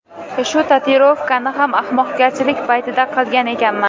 Shu tatuirovkani ham ahmoqgarchilik paytida qilgan ekanman.